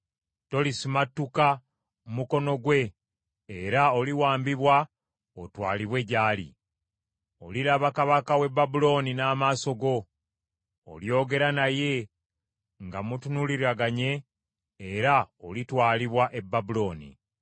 Tolisumattuka mukono gwe era oliwambibwa otwalibwe gy’ali. Oliraba kabaka w’e Babulooni n’amaaso go, olyogera naye nga mutunuuliraganye, era olitwalibwa e Babulooni.